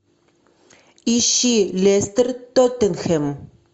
ищи лестер тоттенхэм